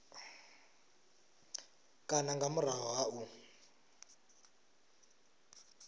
kana nga murahu ha u